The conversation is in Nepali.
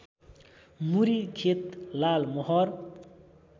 मुरी खेत लालमोहर